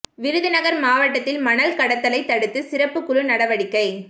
விருதுநகர் மாவட்டத்தில் மணல் கடத்தலை தடுத்து சிறப்பு குழு நடவடிக்கை